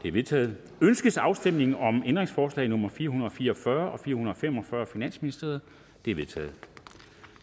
er vedtaget ønskes afstemning om ændringsforslag nummer fire hundrede og fire og fyrre og fire hundrede og fem og fyrre af finansministeren de er vedtaget